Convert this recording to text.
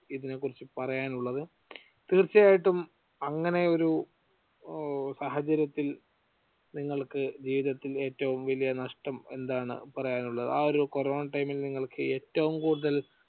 ഇതിനെക്കുറിച്ച് പറയാനുള്ളത്. തീർച്ചയായിട്ടും അങ്ങനെ ഒരു സാഹചര്യത്തിൽ നിങ്ങൾക്ക് ജീവിതത്തിൽ ഏറ്റവും വലിയ നഷ്ടം എന്താണ് പറയാനുള്ളത് ആ ഒരു corona time ഇൽ നിങ്ങൾക്ക് ഏറ്റവും കൂടുതൽ